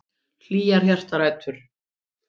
Hlýjar hjartarætur.